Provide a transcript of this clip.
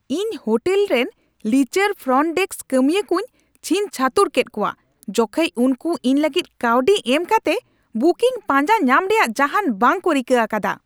ᱤᱧ ᱦᱳᱴᱮᱞ ᱨᱮᱱ ᱞᱤᱪᱟᱹᱲ ᱯᱷᱨᱚᱱᱴ ᱰᱮᱥᱠ ᱠᱟᱹᱢᱤᱭᱟᱹ ᱠᱚᱧ ᱪᱷᱤᱝᱪᱷᱟᱹᱛᱩᱨ ᱠᱮᱫ ᱠᱚᱣᱟ ᱡᱚᱠᱷᱮᱡ ᱩᱱᱠᱩ ᱤᱧ ᱞᱟᱹᱜᱤᱫ ᱠᱟᱹᱣᱰᱤ ᱮᱢ ᱠᱟᱛᱮ ᱵᱩᱠᱤᱝ ᱯᱟᱸᱡᱟ ᱧᱟᱢ ᱨᱮᱭᱟᱜ ᱡᱟᱦᱟᱱ ᱵᱟᱝ ᱠᱚ ᱨᱤᱠᱟᱹ ᱟᱠᱟᱫᱟ ᱾